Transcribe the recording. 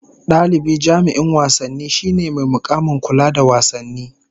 Dalibi jami'in wasanni shine mai mukamin kula da wasanni